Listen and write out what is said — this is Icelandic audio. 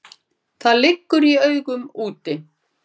Það liggur í augum úti.